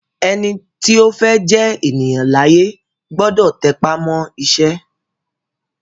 Ẹni tí ó fẹ́ jẹ́ ènìyàn láyé gbọ́dọ̀ tẹpá mọ́ iṣẹ́